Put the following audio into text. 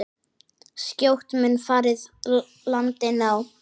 Skjótt mun farið landi ná.